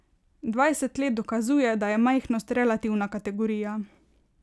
Dvajset let dokazuje, da je majhnost relativna kategorija.